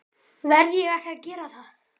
Verð ég ekki að gera það?